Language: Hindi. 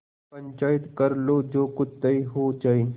पंचायत कर लो जो कुछ तय हो जाय